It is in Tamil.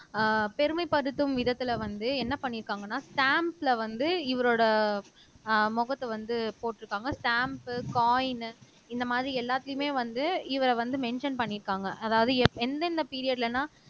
அஹ் பெருமைப்படுத்தும் விதத்துல வந்து என்ன பண்ணி இருக்காங்கன்னா ஸ்டம்ப்ஸ்ல வந்து இவரோட அஹ் முகத்தை வந்து போட்டிருக்காங்க ஸ்டாம்ப் காயின் இந்த மாதிரி எல்லாத்துலயுமே வந்து இவர வந்து மென்ஷன் பண்ணியிருக்காங்க அதாவது எந்தெந்த பீரியட்லன்னா